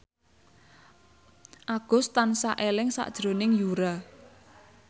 Agus tansah eling sakjroning Yura